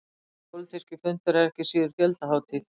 Þessi pólitíski fundur var ekki síður fjöldahátíð